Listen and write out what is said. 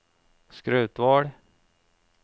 Skrautvål